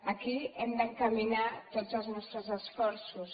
a aquí hem d’encaminar tots els nostres esforços